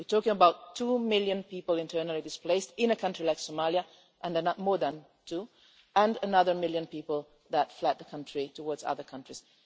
We're talking about two million people internally displaced in a country like Somalia more than two million and another million people who have fled towards other countries.